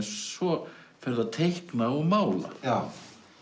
svo ferðu að teikna og mála já